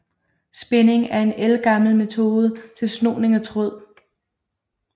Spinding er en ældgammel metode til snoning af tråd